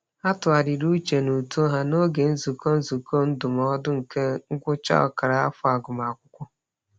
Ha tụgharịrị uche n'uto ha n'oge nzukọ nzukọ ndụmọdụ nke ngwụcha ọkara afọ agụmakwụkwọ.